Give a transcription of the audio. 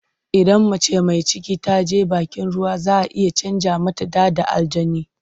Idan mace mai ciki ta je bakin ruwa za a iya canja mata ɗa da aljani.